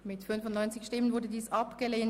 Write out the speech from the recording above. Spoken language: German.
Sie haben Ordnungsantrag 9 abgelehnt.